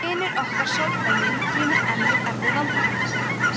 vinur okkar soldáninn glímir enn við erfið vandamál